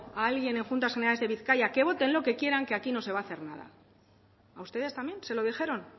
a alguien en juntas generales de bizkaia que voten lo que quieran que aquí no se va a hacer nada a ustedes también se lo dijeron